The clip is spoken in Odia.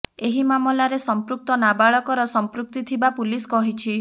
ଏହି ମାମଲାରେ ସଂପୃକ୍ତ ନାବାଳକର ସଂପୃକ୍ତି ଥିବା ପୁଲିସ କହିଛି